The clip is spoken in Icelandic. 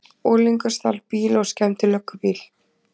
Unglingur stal bíl og skemmdi löggubíl